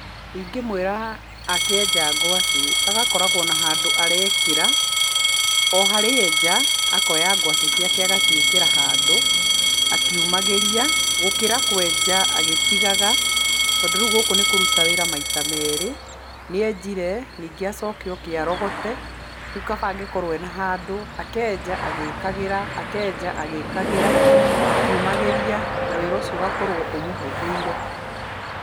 Ingĩmwĩra akĩenja ngwacĩ agakoragwo na handũ arekĩra, o harĩa enja akoya ngwacĩ agaciĩkĩra handũ akiumagĩria, gũkĩra kwenja agĩtigaga tondũ rĩu gũkũ nĩkũruta wĩra maita meerĩ, nĩenjire, nyingĩ acoke oke arogote. Rĩu kaba angĩkorwo ena handũ akenja agĩkagĩra akenja agĩkagĩra. Na wĩra ũcio ũgakorwo ũmũhũthĩire.